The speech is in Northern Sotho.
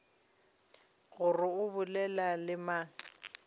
gore o bolela le mang